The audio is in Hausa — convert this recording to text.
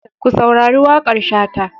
Ka saurari waƙar Shata.